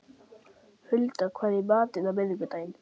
Hulda, hvað er í matinn á miðvikudaginn?